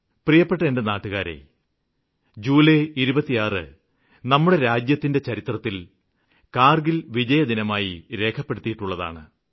പ്രിയപ്പെട്ട എന്റെ നാട്ടുകാരേ ജൂലൈ 26 നമ്മുടെ രാജ്യത്തിന്റെ ചരിത്രത്തില് കാര്ഗില് വിജയദിനമായി രേഖപ്പെടുത്തിയിട്ടുള്ളതാണ്